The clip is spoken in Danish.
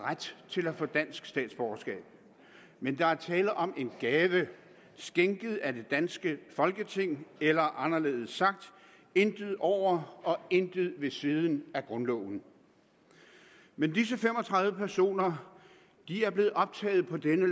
har ret til at få dansk statsborgerskab men der er tale om en gave skænket af det danske folketing eller anderledes sagt intet over og intet ved siden af grundloven men disse fem og tredive personer er blevet optaget på dette